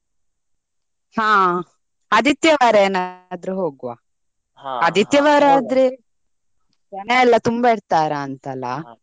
ಹಾ ಆದಿತ್ಯವಾರ ಏನಾದ್ರು ಹೋಗ್ವ. ಜನ ಎಲ್ಲಾ ತುಂಬಾ ಇರ್ತಾರ ಅಂತ .